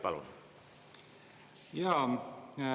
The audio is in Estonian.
Palun!